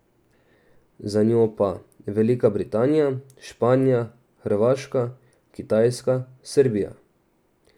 Za njo pa Velika Britanija, Španija, Hrvaška, Kitajska, Srbija ...